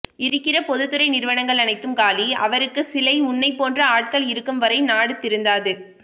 இருக்கிற பொதுத்துறை நிறுவனங்கள் அனைத்தும் காலி அவருக்கு சிலை உன்னை போன்ற ஆட்கள் இருக்கும் வரை நாடு திருந்தது